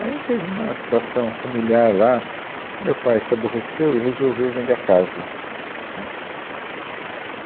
Aí teve uma situação familiar lá que o meu pai se aborreceu e resolveu vender a casa, né